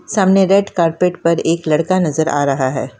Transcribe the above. सामने red carpet पर एक लड़का नज़र आ रहा है।